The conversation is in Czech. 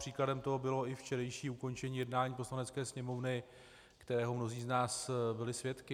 Příkladem toho bylo i včerejší ukončení jednání Poslanecké sněmovny, kterého mnozí z nás byli svědky.